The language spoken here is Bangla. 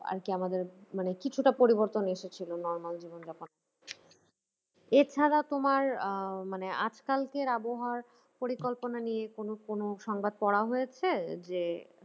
আর কি আমাদের মানে কিছুটা পরিবর্তন এসেছিল normal জীবন যাবনে এছাড়া তোমার আহ মানে আজকালের আবহাওয়া পরিকল্পনা নিয়ে কোনো কোনো সংবাদ পড়া হয়েছে যে